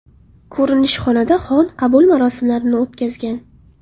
Ko‘rinishxonada xon qabul marosimlarini o‘tkazgan.